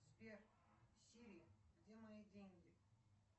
сбер сири где мои деньги